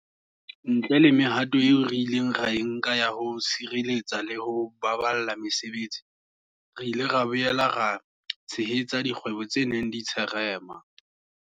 Ntle le mehato eo re ileng ra e nka ya ho sireletsa le ho baballa mesebetsi, re ile ra boela ra tshehetsa dikgwebo tse neng di tsherema.